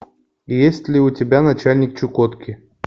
есть ли у тебя начальник чукотки